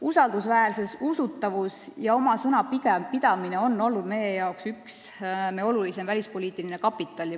Usaldusväärsus, usutavus ja oma sõna pigem pidamine on olnud meie oluline välispoliitiline kapital.